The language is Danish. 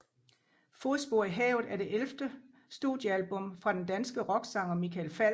Fodspor i havet er det ellevte studiealbum fra den danske rocksanger Michael Falch